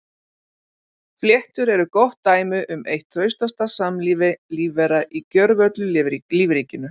Fléttur eru gott dæmi um eitt traustasta samlífi lífvera í gjörvöllu lífríkinu.